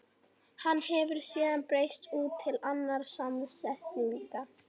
Hann hefur síðan breiðst út til annarra samsetninga.